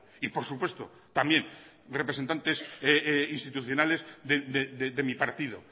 y por supuesto también representantes institucionales de mi partido